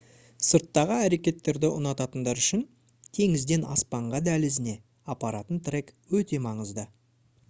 сырттағы әрекеттерді ұнататындар үшін «теңізден аспанға дәлізіне» апаратын трек өте маңызды